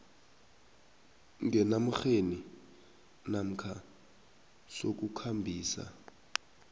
ngenarheni namkha sokukhambisa